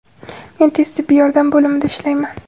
Men tez tibbiy yordam bo‘limida ishlayman.